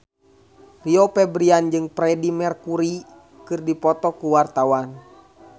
Rio Febrian jeung Freedie Mercury keur dipoto ku wartawan